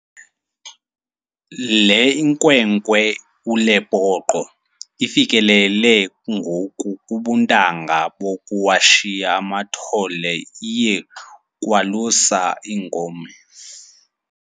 Le nkwenkwe uLepoqo ifikelele ngoku kubuntanga bokuwashiya amathole, iye kwalusa iinkomo.